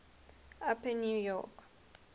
upper new york